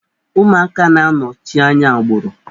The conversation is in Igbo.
Ụmụaka na-anọchi anya agbụrụ.